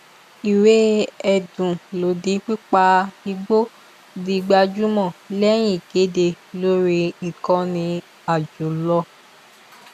ìwé ẹdùn lòdì pípa igbó di gbajúmọ lẹyìn ìkéde lórí ìkànnì àjọlò